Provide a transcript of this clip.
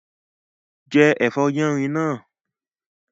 Jẹ́ ẹ̀fọ́ yánrin náà